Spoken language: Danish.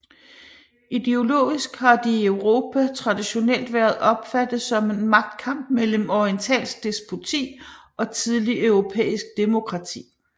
Ideologisk har de i Europa traditionelt været opfattet som en magtkamp mellem orientalsk despoti og tidligt europæisk demokrati